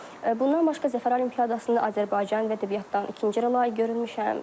Bundan başqa Zəfər Olimpiadasında Azərbaycan dil və ədəbiyyatdan ikinci yerə layiq görülmüşəm.